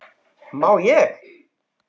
má ég!